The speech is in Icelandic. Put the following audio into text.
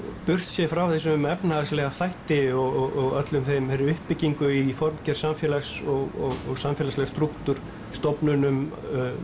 burtséð frá þessum efnahagslega þætti og allri þeirri uppbyggingu í formgerð samfélags og samfélagslegs strúktúr stofnunum